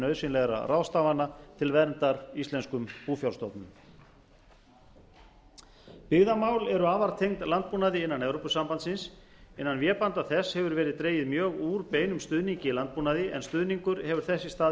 nauðsynlegra ráðstafana til verndar íslenskum búfjárstofnum byggðamál eru afar tengd landbúnaði innan evrópusambandsins innan vébanda þess hefur verið dregið mjög úr beinum stuðningi í landbúnaði en stuðningur hefur þess í stað